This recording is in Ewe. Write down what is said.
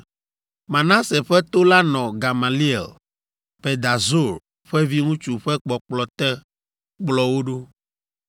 Manase ƒe to la nɔ Gamaliel, Pedahzur ƒe viŋutsu ƒe kpɔkplɔ te kplɔ wo ɖo,